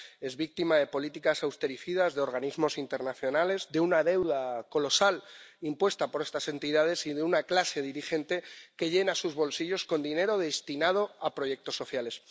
Es víctima de políticas austericidas de organismos internacionales, de una deuda colosal impuesta por estas entidades y de una clase dirigente que llena sus bolsillos con dinero destinado a proyectos sociales.